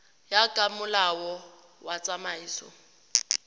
ya ka molao wa tsamaiso